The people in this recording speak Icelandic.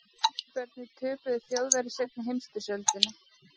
Hvernig töpuðu Þjóðverjar seinni heimsstyrjöldinni?